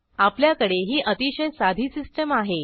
आपल्याकडे ही अतिशय साधी सिस्टीम आहे